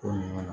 Ko ɲuman